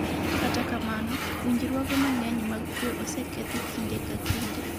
kata kamano, winjruoge mang'eny mag kwe osekethi kinde ka kinde